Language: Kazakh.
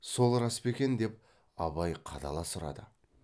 сол рас па екен деп абай қадала сұрады